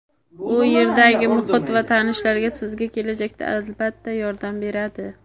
u yerdagi muhit va tanishlar sizga kelajakda albatta yordam beradi.